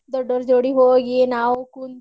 ದೊಡ್ಡೋರ್ ಜೋಡಿ ಹೋಗಿ ನಾವು ಕುಂತು.